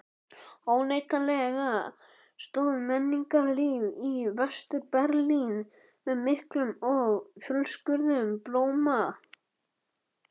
Óneitanlega stóð menningarlíf í Vestur-Berlín með miklum og fjölskrúðugum blóma.